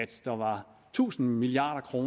der var tusind milliard kr